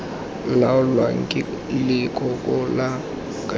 laolwang ke leloko la kabinete